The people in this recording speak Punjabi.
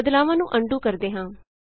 ਬਦਲਾਵਾਂ ਨੂੰ ਅਨਡੂ ਕਰਦੇ ਹਾਂ